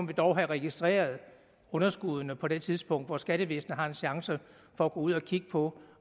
vi dog have registreret underskuddene på det tidspunkt hvor skattevæsenet har en chance for at gå ud og kigge på